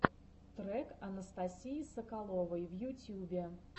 трек анастасии соколовой в ютьюбе